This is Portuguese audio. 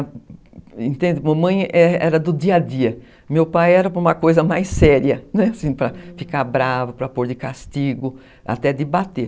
Minha mãe era do dia a dia, meu pai era para uma coisa mais séria, para ficar bravo, para pôr de castigo, até de bater.